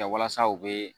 Kɛ walasa u bɛ